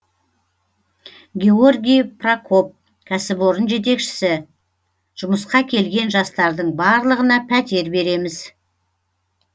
георгий прокоп кәсіпорын жетекшісі жұмысқа келген жастардың барлығына пәтер береміз